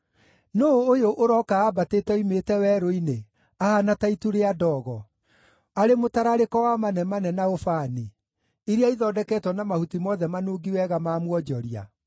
Nũũ ũyũ ũroka ambatĩte oimĩte werũ-inĩ ahaana ta itu rĩa ndogo, arĩ mũtararĩko wa manemane na ũbani, iria ithondeketwo na mahuti mothe manungi wega ma mwonjoria?